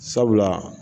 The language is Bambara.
Sabula